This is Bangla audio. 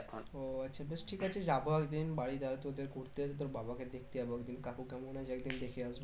ও আচ্ছা বেশ ঠিক আছে যাবো একদিন বাড়ি যাবো তোদের ঘুরতে তো তোর বাবা কে দেখতে যাবো একদিন কাকু কেমন আছে একদিন দেখে আসবো